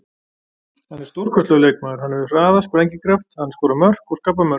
Hann er stórkostlegur leikmaður, hann hefur hraða, sprengikraft, hann skorar mörk og skapar mörk.